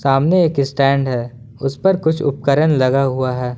सामने एक स्टैंड है उस पर कुछ उपकरण लगा हुआ है।